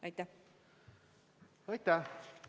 Aitäh!